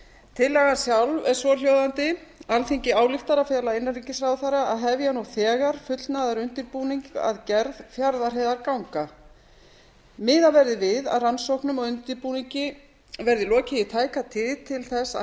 tillagan sjálf er svohljóðandi alþingi ályktar að fela innanríkisráðherra að hefja nú þegar fullnaðarundirbúning að gerð fjarðarheiðarganga miðað verði við að rannsóknum og undirbúningi verði lokið í tæka tíð til að